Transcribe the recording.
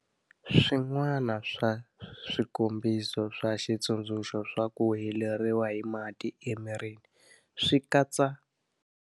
Swin'wana swa swikombiso swa xitsundzuxo swa ku heleriwa hi mati emirini swi katsa.